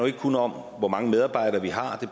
ikke kun om hvor mange medarbejdere vi har det